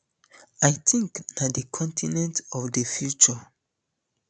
i tink na um di continent of di future